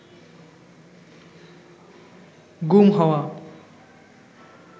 গুম হওয়া